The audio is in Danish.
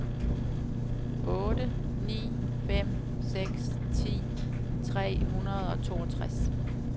otte ni fem seks ti tre hundrede og toogtres